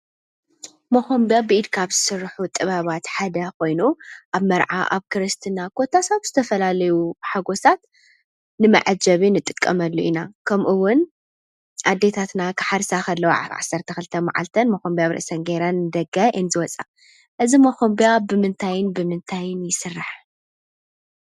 መኸንብያ ብኢድ ካብ ዝስርሑ ጥበባት ሓደ ኮይኑ ኣብ መርዓ፣ ኣብ ክርስትና፣ ኮታስ ኣብ ዝተፈላለዩ ሓጐሳት ንመዐጀቢ ንጥቀመሉ ኢና፡፡ ከምኡውን ኣዴታትና ክሓርሳ ከለዋ ኣብ ዓሰርተ ክልተ መዓልተን መኸንብያ ኣብ ርእሰን ገይረን እየን ንደገ ዝወፃ፡፡ እዚ መኸንብያ ብምንታይን ብምንታይን ይስራሕ?